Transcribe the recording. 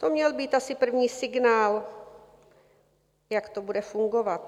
To měl být asi první signál, jak to bude fungovat.